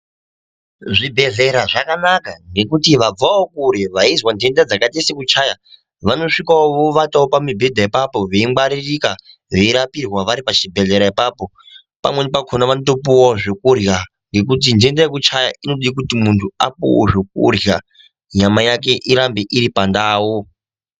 Zvibhedhlera zvakanaka ngekuti vabvavo kure veizwa nhenda dzakaita sekuchaya vanosvikavo vovatavo pamibhedha apapo veingwaririka veirapirwa vari pachibhedhlera ipapo. Pamweni pakona vanotopuvavo zvekurya ngekuti nhenda yekuchaya inode kuti muntu apuvevo zvokurya nyama yake irambe iri pandau.